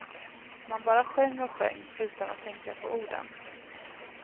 Man bara sjöng och sjöng utan att tänka på orden.